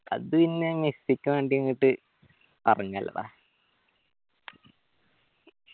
അത് പിന്നെ മെസ്സിക്ക് വേണ്ടി ഇങ്ങട്ട് അടങ്ങലെട